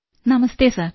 നമസ്തേ sir